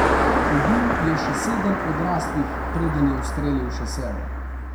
Ubil je še sedem odraslih preden je ustrelil še sebe.